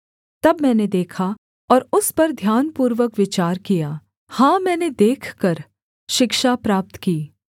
तब मैंने देखा और उस पर ध्यानपूर्वक विचार किया हाँ मैंने देखकर शिक्षा प्राप्त की